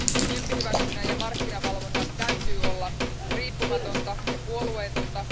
Tyyppihyväksynnän ja markkinavalvonnan täytyy olla riippumatonta ja puolueetonta.